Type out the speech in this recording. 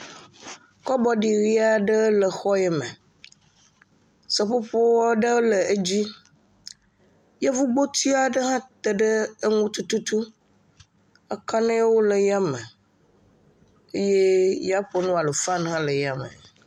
Kɔbɔdi ʋi aɖe le xɔ yi me. Seƒoƒo aɖe le edzi. Yevugboti aɖe hã te ɖe eŋu tututu. Akaɖiwo le ya me yee yaƒonu alo fani hã le ya me.